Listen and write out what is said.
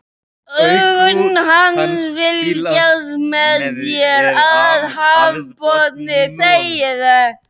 Augu hans fylgjast með mér af hafsbotninum.